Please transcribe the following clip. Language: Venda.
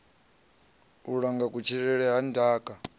u langa kutshilele na ndaka